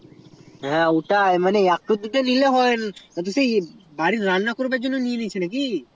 হয়ে ওটাই একটা দুটা নিলে হয় না তো রান্না করার মতো নিয়ে নিচ্ছে নাকি